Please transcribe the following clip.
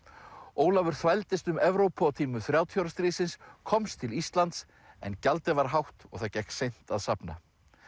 Ólafur þvældist um Evrópu á tímum þrjátíu ára stríðsins komst til Íslands en gjaldið var hátt og það gekk seint að safna